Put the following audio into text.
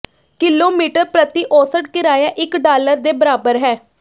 kilometre ਪ੍ਰਤੀ ਔਸਤ ਕਿਰਾਇਆ ਇਕ ਡਾਲਰ ਦੇ ਬਰਾਬਰ ਹੈ